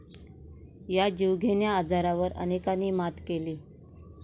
या जीवघेण्या आजारावर अनेकांनी मात केली.